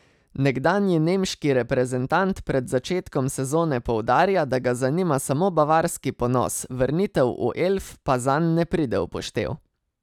Nekdanji nemški reprezentant pred začetkom sezone poudarja, da ga zanima samo bavarski ponos, vrnitev v Elf pa zanj ne pride v poštev.